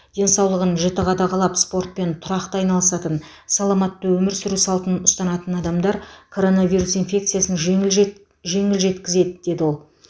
денсаулығын жіті қадағалап спортпен тұрақты айналысатын саламатты өмір сүру салтын ұстанатын адамдар коронавирус инфекциясын жеңіл жет жеңіл жеткізеді деді ол